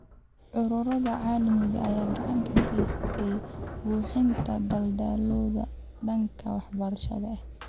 Ururada caalamiga ah ayaa gacan ka geysta buuxinta daldaloolada dhanka waxbarashada ee .